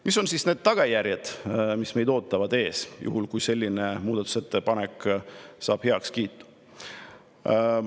Mis on siis need tagajärjed, mis meid ees ootavad, juhul kui selline muudatusettepanek saab heakskiidu?